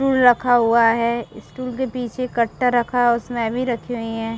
फूल रखा हुआ है स्टूल के पीछे कट्टा रखा हुआ है उसमे रखी हुई है।